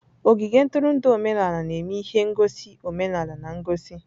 Ogige ntụrụndụ omenala na-eme ihe ngosi omenala na ngosi.